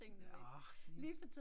Nåh det